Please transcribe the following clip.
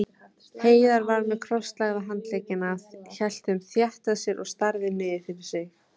Heiða var með krosslagða handleggina, hélt þeim þétt að sér og starði niður fyrir sig.